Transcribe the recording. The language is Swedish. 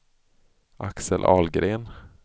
Axel Ahlgren